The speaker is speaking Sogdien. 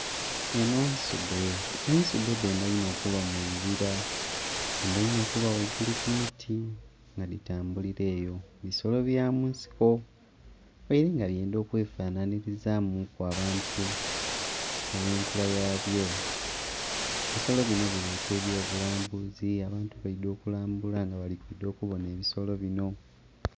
Eno nsudhe, ensudhe dhendha inho okuba mu bibira dhendha inho okuba ghaigulu ku miti nga dhitambulira eyo, bisolo bya munsiko ghaire nga byendha okwefanhanhirizamuku abantu olwenkula yabyo. Ebisolo bino bireeta eby'obulambuzi abantu baidha okulambula nga bali kwidha okubona ebisolo bino.